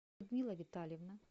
людмила витальевна